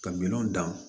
Ka minɛnw dan